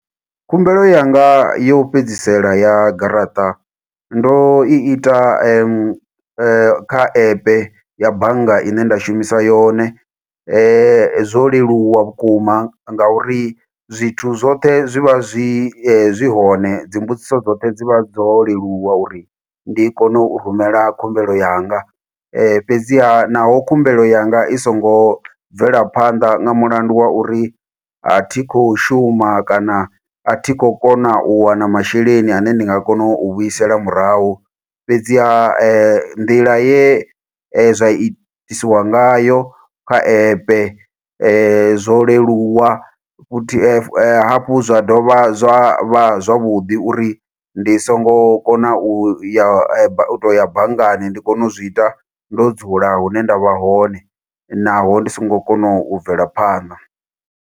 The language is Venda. Khumbelo yanga yo u fhedzisela ya garaṱa, ndo i ita kha epe ya bannga ine nda shumisa yone. Zwo leluwa vhukuma ngauri zwithu zwoṱhe zwi vha zwi zwi hone, dzimbudziso dzoṱhe dzi vha dzo leluwa uri ndi kone u rumela khumbelo yanga. Fhedziha, naho khumbelo yanga i songo bvela phanda nga mulandu wa uri a thi khou shuma, kana a thi khou kona u wana masheleni ane ndi nga kona u a vhuisela murahu. Fhedziha nḓila ye zwa itisiwa ngayo kha epe zwo leluwa, futhi hafhu zwa dovha zwa vha zwavhuḓi uri ndi songo kona u ya ba, u to ya banngani. Ndi kone u zwi ita, ndo dzula hune nda vha hone, naho ndi songo kona u bvela phanḓa.